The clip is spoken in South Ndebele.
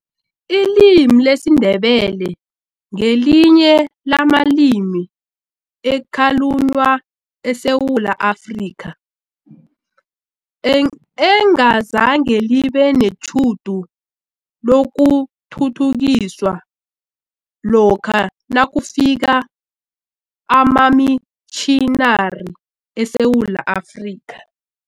Ilimi lesiNdebele ngelinye lamalimi ekhalunywa eSewula Afrika, engazange libe netjhudu lokuthuthukiswa lokha nakufika amamitjhinari eSewula Afrika.